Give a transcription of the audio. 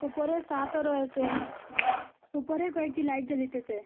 উপরে সাতও রয়েসে উপরে কয়েকটি লাইট জ্বলিতেসে।